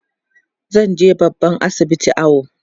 zanje babban asibiti awo